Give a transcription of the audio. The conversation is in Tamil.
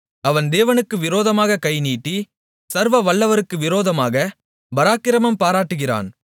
அவன் தேவனுக்கு விரோதமாகக் கைநீட்டி சர்வவல்லவருக்கு விரோதமாகப் பராக்கிரமம் பாராட்டுகிறான்